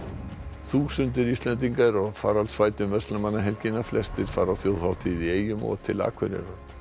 þúsundir Íslendinga eru á faraldsfæti um verslunarmannahelgina flestir fara á þjóðhátíð í eyjum og til Akureyrar